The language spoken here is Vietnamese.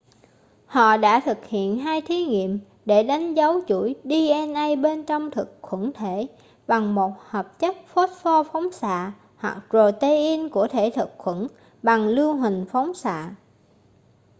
họ đã thực hiện hai thí nghiệm để đánh dấu chuỗi dna bên trong thực khuẩn thể bằng một hợp chất phốt-pho phóng xạ hoặc protein của thể thực khuẩn bằng lưu huỳnh phóng xạ